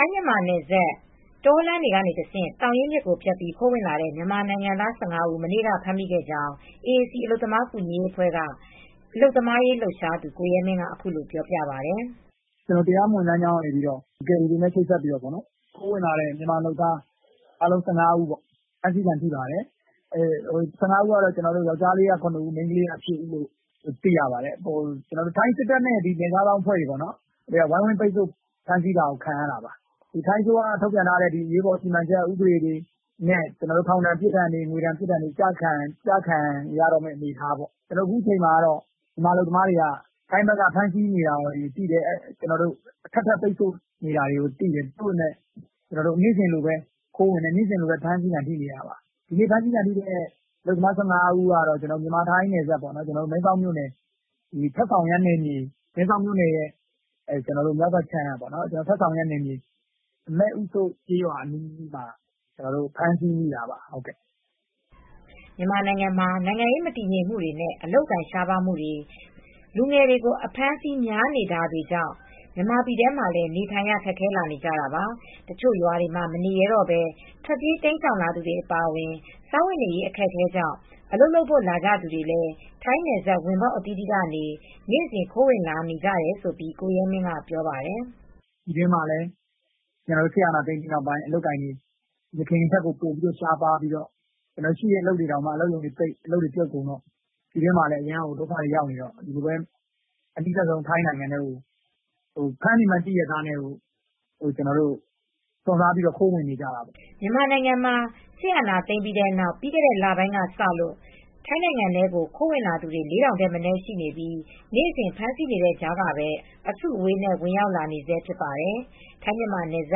ိုင်းမြန်မာနယ်စပ် တောလမ်းတွေ ကတဆင့် သောင်ရင်းမြစ်ကိုဖြတ်ပြီးခိုးဝင်လာတဲ့မြန်မာနိုင်ငံသား ၁၅ဦး မနေ့ကဖမ်းမိခဲ့ကြောင်း AAC အလုပ်သမားကူညီရေးအဖွဲ့က အလုပ်သမားရေးလှုပ်ရှားသူကိုရဲမင်းကအခုလိုပြောပါတယ်။ "တရားမဝင်လမ်းကြောင်း ကယ်ရီ ပွဲစားတွေနဲ့ချိတ်ဆက်ပြီးခိုးဝင်လာတဲ့မြန်မာအလုပ်သမားအားလုံး ၁၅ဦးဖမ်းဆီးခံထိပါတယ်။ ယောင်္ကျားလေးက ၇ဦး မိန်းကလေးက ၈ဦးလို့သိရပါတယ်။ ထိုင်းစစ်တပ်နဲ့နယ်ခြားစောင့်တပ်တွေဝိုင်းဝန်းပိတ်ဆို့ဖမ်းဆီးတာကိုခံရတာပါ။ ထိုင်းအစိုးရကထုတ်ပြန်တဲ့ အရေးပေါ် ဥပဒေတွေနဲ့ ထောင်ဒဏ်ငွေဒဏ်တွေ ကျခံနေရမယ့်အနေအထားပေါ့ ။အခုချိန်မှာ ထိုင်းဘက်က တင်းကြပ်နေတယ် အထပ်ထပ်ပိတ်ဆို့နေတာသိတယ်။ သို့ပေမယ့်နေစဉ်လိုလိုဖမ်းဆီးခံထိနေတာပါ။ ဖမ်းဆီခံထိတဲ့ သူ၁၅ဦးကတော့ မြန်မာ-ထိုင်းနယ်စပ် တန်ဆောင်ရမ်းနယ်မြေ မဲ့အူးသုတ်ကျေးရွာအနီးမှာဖမ်းဆီးခံထိတာပါ။" မြန်မာနိုင်ငံမှာ နိုင်ငံရေးမတည်ငြိမ်မူ့နဲ့အလုပ်အကိုင်ရှားပါးမူတွေ လူငယ်တွေကို အဖမ်းအဆီးများနေတာတွေ ကြောင့် မြန်မာပြည်ထဲမှာနေထိုင်ရ ခက်ခဲလာနေကြတာပါ။ တချို့ရွာတွေမှာမနေရဲတော့ဘဲ ထွက်ပြေးတိမ်းရှောင်လာသူတွေအပါအဝင် စားဝတ်နေရေးအခက်အခဲကြောင့် အလုပ်လုပ်ဖို့လာကြသူတွေလည်း ထိုင်းနယ်စပ် ဝင်ပေါက်အသီးသီးကနေ နေ့စဉ်ခိုးဝင်လာနေကြတယ်လို့ ကိုရဲမင်းကပြောပါတယ်။ "ပြည်တွင်းမှာစစ်အာဏာသိမ်းပြီးနောက်ပိုင်းမှာ အလုပ်အကိုင်တွေယခင်ထက်ကို ရှားပါးပြီးရှိတဲ့အလုပ်ရုံတွေပိတ်တော့ အလုပ်တွေပြုတ်တော့ အနီးစပ်ဆုံးထိုင်းနိုင်ငံထဲကို ဖမ်းနေမှန်းသိပေမယ့် စွန့်စားပြီးခိုးဝင်နေကြတာပါ" မြန်မာနိုင်ငံမှာ စစ်အာဏာသိမ်းပြီးတဲ့နောက် ပြီးခဲ့တဲလပိုင်းတွေကစလို့ ထိုင်းနိုင်ငံထဲကို ခိုးဝင်လာသူတွေ ၄ထောင်ထက်မနည်းရှိနေပြီး နေ့စဉ် ဖမ်းဆီးနေတဲ့ကြားကပဲ အစုအဝေးနဲ့ဝင်ရောက်လာနေဆဲဖြစ်ပါတယ်။ ထိုင်း-မြန်မာနယ်စ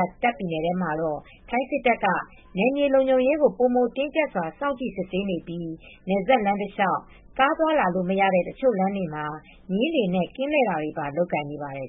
ပ် တာ့ခ်ပြည်နယ်ထဲမှာတော့ ထိုင်းစစ်တပ်က နယ်မြေလုံခြုံရေးကိုပိုမိုတင်းကြပ်စွာစောင့်ကြည့်စစ်ဆေးနေပြီး နယ်စပ်လမ်းတလျှောက် ကားသွားလာလို့မရတဲ့ တချို့လမ်းတွေမှာ မြင်းတွေနဲ့ကင်းလှည့်တာတွေပါ လုပ်ကိုင်နေပါတယ်